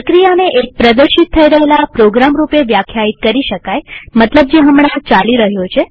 પ્રક્રિયાને એક પ્રદર્શિત થઇ રહેલા પ્રોગ્રામ રૂપે વ્યાખ્યાયિત કરી શકાય મતલબ જે હમણાં ચાલી રહ્યો છે